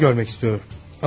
O da səni görmək istəyir.